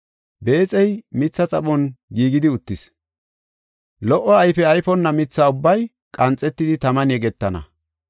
Beexey mitha xaphon giigidi uttis; lo77o ayfe ayfonna mitha ubbay qanxetidi taman yegetana.